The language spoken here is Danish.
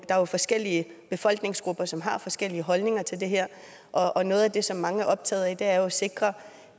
er jo forskellige befolkningsgrupper som har forskellige holdninger til det her og noget af det som mange er optaget af er jo at sikre